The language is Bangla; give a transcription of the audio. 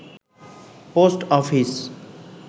post office